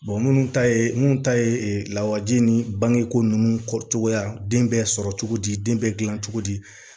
minnu ta ye minnu ta ye lawaji ni bangeko ninnu kɔcogoya den bɛ sɔrɔ cogo di den bɛ dilan cogo di